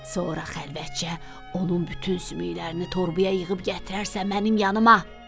Sonra xəlvətcə onun bütün sümüklərini torbaya yığıb gətirərsən mənim yanıma.